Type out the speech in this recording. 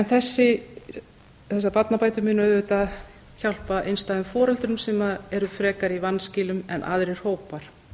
börn þessar barnabætur munu auðvitað hjálpa einstæðum foreldrum sem eru frekar í vanskilum en aðrir hópar